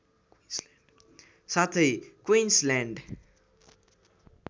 साथै क्विन्सल्यान्ड